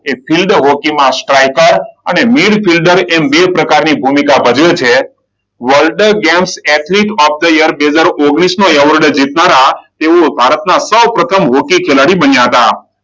Field હોકીમાં striker અને mid fielder એમ બે પ્રકારની ભૂમિકા ભજવે છે. World games athlete of the year બે હજાર ઓગણીસનો એવોર્ડ જીતનારા તેઓ ભારતના સૌપ્રથમ હોકી ખિલાડી બન્યા હતા.